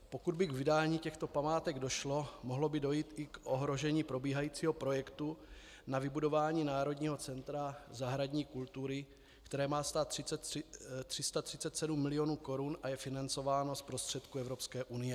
Pokud by k vydání těchto památek došlo, mohlo by dojít i k ohrožení probíhajícího projektu na vybudování Národního centra zahradní kultury, které má stát 337 milionů korun a je financováno z prostředků Evropské unie.